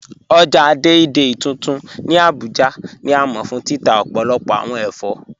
Ọ̀já Dei Dei tuntun ni Abuja ni a mọ fun títà ọ̀pọ̀lọ̀pọ̀ awọn èfọ́.